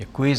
Děkuji.